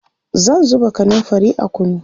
zan zuba kanumfari a kunu